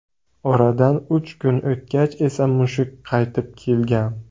Oradan uch kun o‘tgach esa mushuk qaytib kelgan.